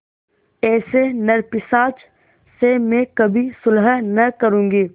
ऐसे नरपिशाच से मैं कभी सुलह न करुँगी